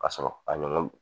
Ka sɔrɔ a ɲɔgɔn